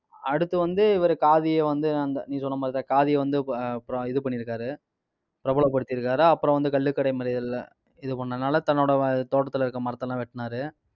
அடுத்து வந்து, இவரு காதியை வந்து அந்த நீ சொன்ன மாதிரிதான் காதியை வந்து இப்ப அப்புறம் இது பண்ணியிருக்காரு பிரபலப்படுத்தி இருக்காரு. அப்புறம் வந்து, கள்ளுக்கடை மறியல்ல இது பண்ணதுனால தன்னோட தோட்டத்துல இருக்க மரத்த எல்லாம் வெட்டுனாரு.